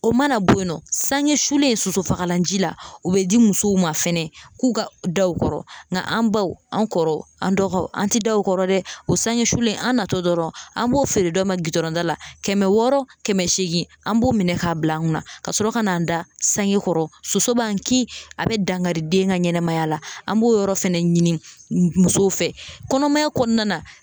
O mana bo yen nɔ sange sulen sosofagalan ji la u be di musow ma fɛnɛ k'u ka da o kɔrɔ nga an baw an kɔrɔ an dɔgɔw an te da okɔrɔ dɛ o sange sulen an natɔ dɔrɔn an b'o feere dɔ ma gitɔrɔnda la kɛmɛ wɔɔrɔ kɛmɛ seegin an b'o minɛ k'a bila an kunna ka sɔrɔ ka n'an da sangekɔrɔ soso b'an ki a be dankari den ka ɲɛnɛmaya la an b'o yɔrɔ fɛnɛ ɲini musow fɛ kɔnɔmaya kɔnɔna na